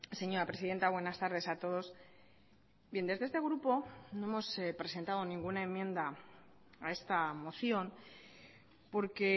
señora presidenta buenas tardes a todos bien desde este grupo no hemos presentado ninguna enmienda a esta moción porque